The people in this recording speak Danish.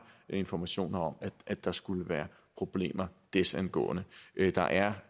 informationer om at der skulle være problemer desangående der er